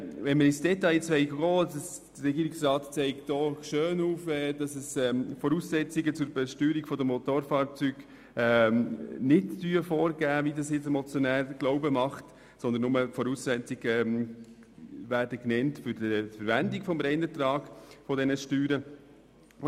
Der Regierungsrat zeigt auf, dass die Voraussetzungen zur Besteuerung von Motorfahrzeugen nicht vorgeben sind, wie uns das der Motionär glauben macht, sondern die Voraussetzungen werden nur bei der Verwendung des Reinertrags dieser Steuern genannt.